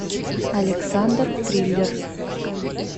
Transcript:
александр триллер